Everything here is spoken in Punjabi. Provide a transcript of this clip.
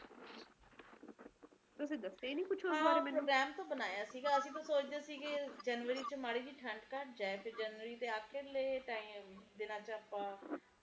ਤੁਸੀਂ ਦੱਸਿਆ ਹੀ ਕੁਸ਼ ਮੈਨੂੰ ਹੈ program ਤਾ ਬਣਾਇਆ ਸੀਗਾ ਅਸੀਂ ਤਾ ਸੋਚਦੇ ਸੀਗੇ ਜਨਵਰੀ ਚ ਮਾੜੀ ਜੀ ਠੰਡ ਘਟਾ ਜਾਏਫਿਰ ਜਨਵਰੀ ਦੇ ਅਖ਼ੀਰਲੇ time ਦਿਨਾਂ ਵਿਚ ਆਪਾ